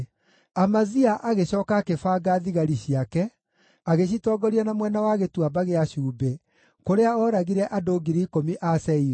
Amazia agĩcooka akĩbanga thigari ciake, agĩcitongoria na mwena wa Gĩtuamba gĩa Cumbĩ, kũrĩa ooragire andũ 10,000 a Seiru.